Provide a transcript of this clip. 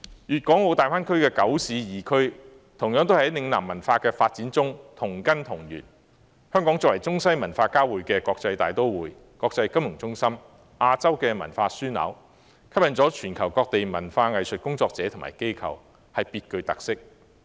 粵港澳大灣區的九市二區同樣在嶺南文化的發展中同根同源，香港作為中西文化交匯的國際大都會、國際金融中心、亞洲文化樞紐，吸引全球各地文化藝術工作者和機構，別具特色。